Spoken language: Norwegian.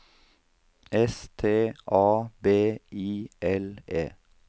S T A B I L E